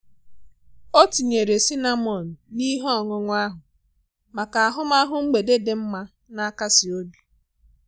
Ọ tinyere cinnamon na ihe ọṅụṅụ ahụ maka ahụmahụ mgbede di mma, na-akasi obi.